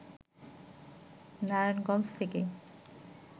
নারায়ণগঞ্জ থেকে